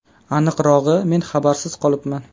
Aniqrog‘i, men xabarsiz qolibman.